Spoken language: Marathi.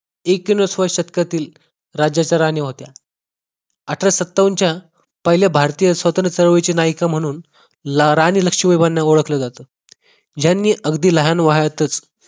एकोणीवसाव्या शतकातील राज्याच्या राणी होत्या अठराशे सत्तावण च्या पहिले भारतीय स्वतंत्र चळवळीची नायिका म्हणून राणी लक्ष्मीबाईंना ओळखले जाते यांनी अगदी लहान वयातच